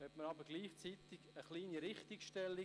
Gleichzeitig erlaube ich mir eine kleine Richtigstellung: